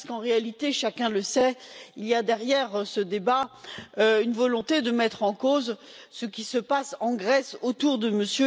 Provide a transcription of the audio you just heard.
Parce qu'en réalité, chacun le sait, il y a derrière ce débat une volonté de mettre en cause ce qui se passe en Grèce autour de M.